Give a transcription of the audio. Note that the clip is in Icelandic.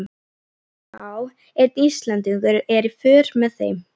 Já, einn Íslendingur er í för með þeim.